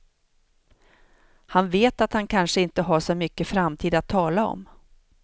Han vet att han kanske inte har så mycket framtid att tala om.